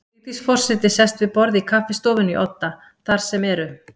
Vigdís forseti sest við borð í kaffistofunni í Odda, þar sem eru